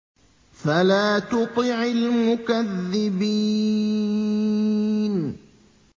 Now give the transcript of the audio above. فَلَا تُطِعِ الْمُكَذِّبِينَ